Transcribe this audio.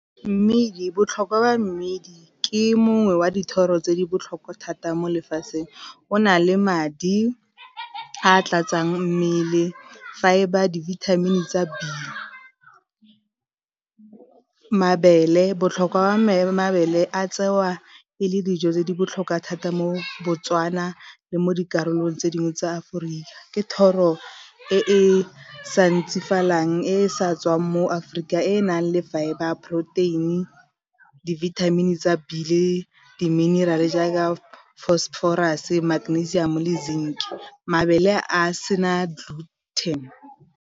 Mme botlhokwa ba mmidi ke mongwe wa dithoro tse di botlhokwa thata mo lefatsheng, o na le madi a tlatsang mmele fibre dibithamini tsa Be, mabele botlhokwa wa mabele a tsewa e le dijo tse di botlhokwa thata mo Botswana le mo dikarolong tse dingwe tsa Aforika ke thoro e e sa ntsifalang e e sa tswang mo Aforika e e nang le fibre, protein, dibithamini tsa B le diminerale jaaka Phosphorus, Magnesium le zinc, mabele a sena gluten.